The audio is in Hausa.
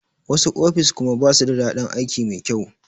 Wasu ofis kuma basu da daɗin aiki mai kyau.